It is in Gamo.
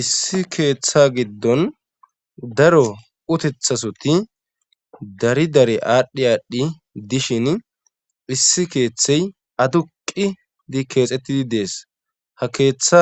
issi keeththa giddon daro utethasoti dari dari aadhdhi aadhdhi dishin issi keeththey aduqi di keexettidi dees ha keeththa